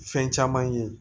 Fɛn caman ye